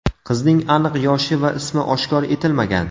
Qizning aniq yoshi va ismi oshkor etilmagan.